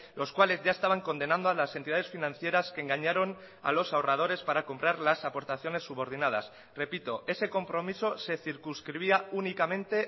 los cuales ya estaban condenando a las entidades financieras que engañaron a los ahorradores para comprar las aportaciones subordinadas repito ese compromiso se circunscribía únicamente